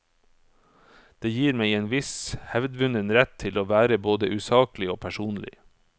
Det gir meg en viss hevdvunnen rett til å være både usaklig og personlig.